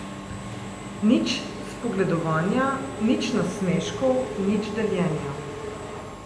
Nič spogledovanja, nič nasmeškov, nič deljenja.